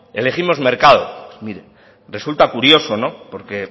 elegimos mercado mire resulta curioso no en